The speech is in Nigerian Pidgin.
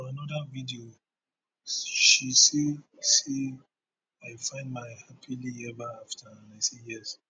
for anoda video she say say i find my happily eva afta and i say yes